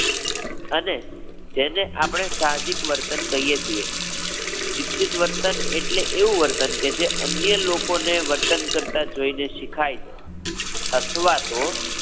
અને જેને આપણે સાહજિક વર્તન કહીએ છીએ. શિક્ષિત વર્તન એટલે એવું વર્તન કે જે અન્ય લોકોને વર્તન કરતાં જોઈ ને શિખાય જાય અથવા તો